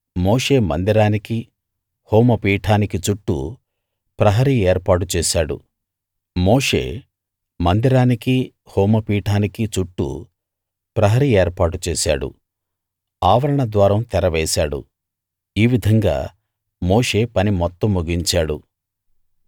మోషే మందిరానికి హోమపీఠానికి చుట్టూ ప్రహరీ ఏర్పాటు చేశాడు ఆవరణ ద్వారం తెర వేశాడు ఈ విధంగా మోషే పని మొత్తం ముగించాడు